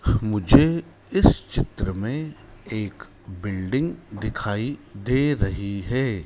मुझे इस चित्र में एक बिल्डिंग दिखाई दे रही है।